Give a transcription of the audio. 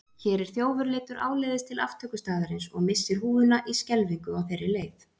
Hér er þjófur leiddur áleiðis til aftökustaðarins og missir húfuna í skelfingu á þeirri leið.